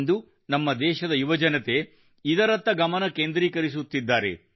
ಇಂದು ನಮ್ಮ ದೇಶದ ಯುವಜನತೆ ಇದರತ್ತ ಗಮನ ಕೇಂದ್ರೀಕರಿಸುತ್ತಿದ್ದಾರೆ